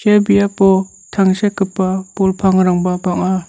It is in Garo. ia biapo tangsekgipa bol pangrangba bang·a.